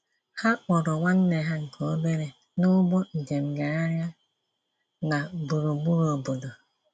Ha kpọọrọ nwanne ha nke obere n'ụgbọ njem gagharịa na burugburu obodo.